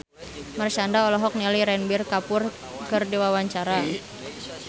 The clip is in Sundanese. Marshanda olohok ningali Ranbir Kapoor keur diwawancara